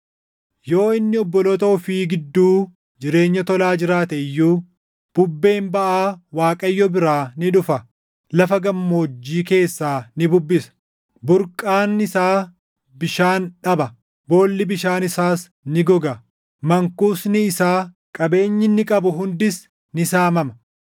Yoo inni obboloota ofii gidduu jireenya tolaa jiraate iyyuu, bubbeen baʼaa Waaqayyo biraa ni dhufa; lafa gammoojjii keessaa ni bubbisa; burqaan isaa bishaan dhaba; boolli bishaan isaas ni goga. Mankuusni isaa, qabeenyi inni qabu hundis ni saamama.